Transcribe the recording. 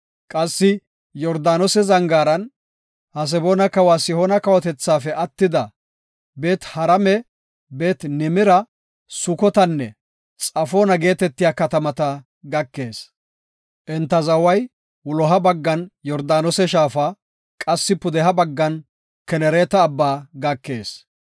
Qassi Yordaanose zangaaran, Haseboona kawa Sihoona kawotethaafe attida, Beet-Harame, Beet-Nimira, Sukotanne Xafoona geetetiya katamata ekees. Enta zaway wuloha baggan Yordaanose shaafa, qassi pudeha baggan Kenereeta abba gakees.